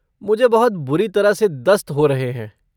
मुझे बहुत बुरी तरह से दस्त हो रहे हैं।